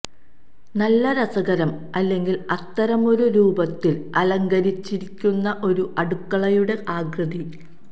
നല്ല രസകരം അല്ലെങ്കിൽ അത്തരമൊരു രൂപത്തിൽ അലങ്കരിച്ചിരിക്കുന്ന ഒരു അടുക്കളയുടെ ആകൃതി